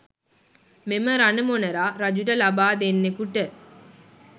මෙම රණ මොනරා රජුට ලබා දෙන්නෙකුට